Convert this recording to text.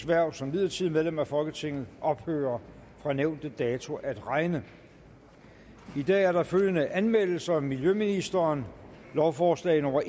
hverv som midlertidigt medlem af folketinget ophører fra nævnte dato at regne i dag er der følgende anmeldelser miljøministeren lovforslag nummer